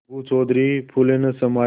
अलगू चौधरी फूले न समाये